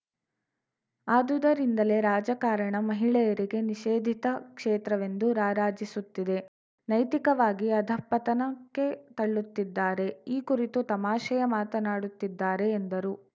ಆದುದರಿಂದಲೇ ರಾಜಕಾರಣ ಮಹಿಳೆಯರಿಗೆ ನಿಷೇಧಿತ ಕ್ಷೇತ್ರವೆಂದು ರಾರಾಜಿಸುತ್ತಿದೆ ನೈತಿಕವಾಗಿ ಅಧಪತನಕ್ಕೆ ತಳ್ಳುತ್ತಿದ್ದಾರೆ ಈ ಕುರಿತು ತಮಾಷೆಯ ಮಾತನಾಡುತ್ತಿದ್ದಾರೆ ಎಂದರು